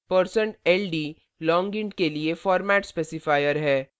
% ld long int के लिए format specifier है